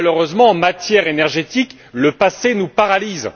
Malheureusement, en matière énergétique, le passé nous paralyse.